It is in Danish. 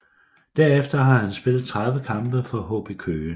Derefter har han spillet 30 kampe for HB Køge